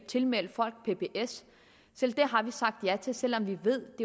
tilmeldes pbs selv det har vi sagt ja til selv om vi ved at